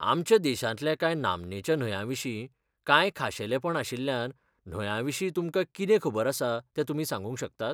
आमच्या देशांतल्या कांय नामनेच्या न्हंयांविशीं, कांय खाशेलेपण आशिल्ल्या न्हंयांविशीं तुमकां कितें खबर आसा तें तुमी सांगूंक शकतात?